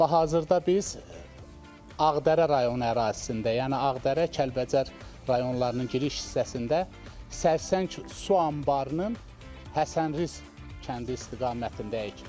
Hazırda biz Ağdərə rayonu ərazisində, yəni Ağdərə, Kəlbəcər rayonlarının giriş hissəsində Sərsəng su anbarının Həsənrız kəndi istiqamətindəyik.